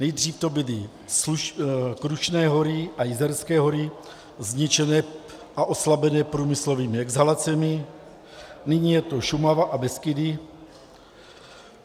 Nejdřív to byly Krušné hory a Jizerské hory zničené a oslabené průmyslovými exhalacemi, nyní je to Šumava a Beskydy.